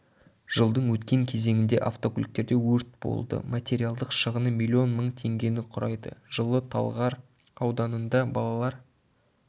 жылдың өткен кезенінде автокөліктерде өрт болды материалдық шығыны млн мың теңгені құрайды жылы талғар ауданында балалар